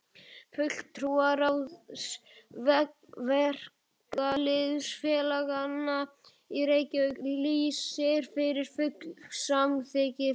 FULLTRÚARÁÐS VERKALÝÐSFÉLAGANNA Í REYKJAVÍK LÝSIR YFIR FULLU SAMÞYKKI VIÐ